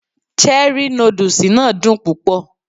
Cherrí nódùsì náà dùn púpọ̀